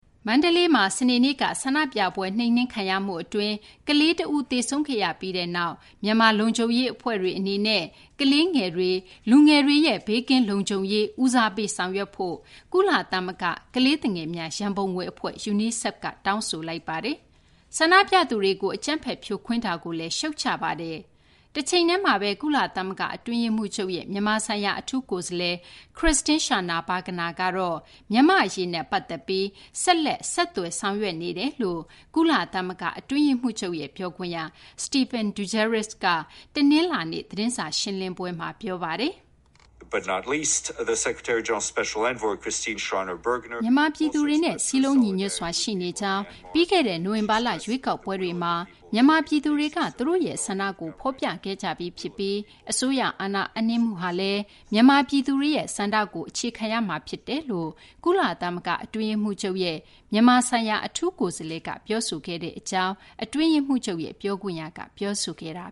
မန္တလေးမှာ စနေနေ့က ဆန္ဒပြပွဲ နှိမ်နင်းခံရမှု အတွင်းမှာ ကလေးတဦး သေဆုံးခဲ့ရပြီးနောက် မြန်မာလုံခြုံရေး အဖွဲ့တွေ အနေနဲ့ ကလေးငယ်တွေ၊ လူငယ်တွေရဲ့ ဘေးကင်းလုံခြုံရေးကို ဦးစားပေး ဆောင်ရွက်ဖို့ ကုလသမဂ္ဂ ကလေးသူငယ်များ ရန်ပုံငွေ အဖွဲ့ UNICEF က တောင်းဆိုလိုက်ပါတယ်။ ဆန္ဒပြသူတွေကို အကြမ်းဖက်ဖြိုခွင်းမှုကိုလည်း ရှုတ်ချလိုက်ပါတယ်။ တချိန်တည်းမှာဘဲ ကုလသမဂ္ဂ အတွင်းရေးမှူးချုပ်ရဲ့ မြန်မာဆိုင်ရာ အထူးကိုယ်စားလှယ် Christine Schraner Burgener ကတော့ မြန်မာ့အရေးနဲ့ ပတ်သက်ပြီး ဆက်လက် ဆက်သွယ်ဆောင်ရွက်နေကြောင်း ကုလသမဂ္ဂ အတွင်းရေးမှူးချုပ်ရဲ့ ပြောခွင့်ရ Stephane Dujarric က တနလာၤနေ့ သတင်းစာ ရှင်းလင်းပွဲမှာ ပြောပါတယ်။ မြန်မာပြည်သူတွေနဲ့ စည်းလုံးညီညွတ်စွာ ရှိနေကြောင်း၊ ပြီးခဲ့တဲ့ နိုဝင်ဘာလ ရွေးကောက်ပွဲတွေမှာ မြန်မာပြည်သူတွေက သူတို့ရဲ့ဆန္ဒကို ဖော်ပြခဲ့ကြပြီးဖြစ်ပြီး အစိုးရအာဏာအပ်နှင်းမှုဟာလည်း မြန်မာပြည်သူတွေရဲ့ ဆန္ဒကို အခြေခံရမှာဖြစ်တယ်လို ကုလသမဂ္ဂ အတွင်းရေးမှူးချုပ်ရဲ့ မြန်မာဆိုင်ရာ အထူးကိုယ်စားလှယ်က ပြောဆိုထားတဲ့ အကြောင်း အတွင်းရေးမှူးချုပ်ရဲ့ ပြောခွင့်ရက ပြောဆိုခဲ့တာ